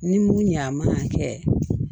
Ni mun ɲa a man kɛ